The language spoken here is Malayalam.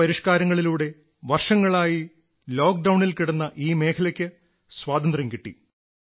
ഈ പരിഷ്കാരങ്ങളിലൂടെ വർഷങ്ങളായി ലോക്ഡൌണിൽ കിടന്ന ഈ മേഖലയ്ക്ക് സ്വാതന്ത്ര്യം കിട്ടി